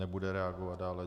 Nebude reagovat dále.